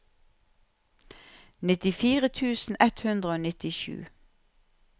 nittifire tusen ett hundre og nittisju